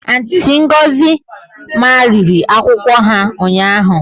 Auntị Ngọzi mamịrị akwụkwọ ha ụnyaahụ